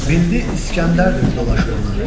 Bildi İskəndərdir dolaşır ona.